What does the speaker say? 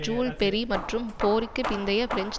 joule Ferry மற்றும் போருக்கு பிந்தைய பிரெஞ்சு